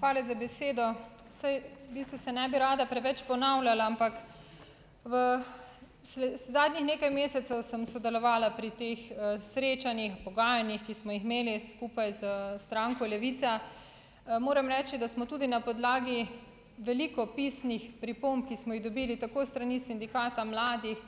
Hvala za besedo. Saj bistvu se ne bi rada preveč ponavljala, ampak v zadnjih nekaj mesecev sem sodelovala pri teh, srečanjih, pogajanjih, ki smo jih imeli skupaj s stranko Levica, moram reči, da smo tudi na podlagi veliko pisnih pripomb, ki smo jih dobili tako s strani sindikata mladih,